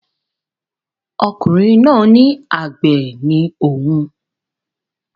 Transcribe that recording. Ọkùnrin náà ní àgbẹ̀ ni òun